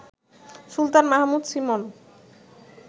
Sultan Mahmud Simon